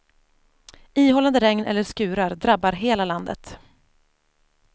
Ihållande regn eller skurar drabbar hela landet.